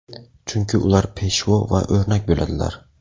Chunki ular peshvo va o‘rnak bo‘ladilar.